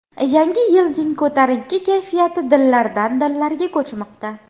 Yangi yilning ko‘tarinki kayfiyati dillardan-dillarga ko‘chmoqda.